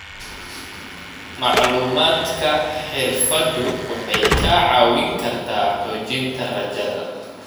Macluumaadka xirfaddu waxay kaa caawin kartaa xoojinta rajada.